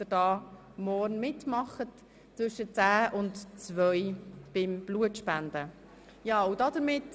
Seien Sie bitte pünktlich, oder warten Sie draussen, bis die Vereidigung zu Ende ist.